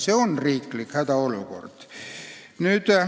See on riiklik hädaolukord.